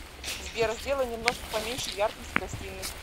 сбер сделай немножко поменьше яркость в гостиной